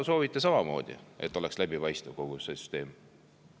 –, soovivad samamoodi, et kogu süsteem oleks läbipaistev.